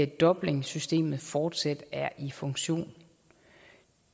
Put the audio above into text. dublinsystemet fortsat er i funktion